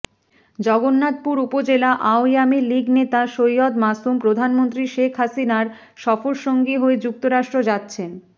জগন্নাথপুর উপজেলা আওয়ামীলীগ নেতা সৈয়দ মাসুম প্রধানমন্ত্রী শেখ হাসিনার সফর সঙ্গী হয়ে যুক্তরাষ্ট্র যাচ্ছেন